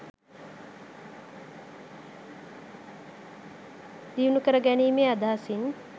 දියුණු කරගැනීමේ අදහසින්